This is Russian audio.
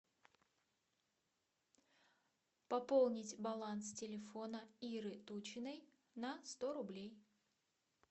пополнить баланс телефона иры тучиной на сто рублей